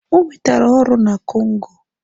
O nwetara ọrụ na Congo.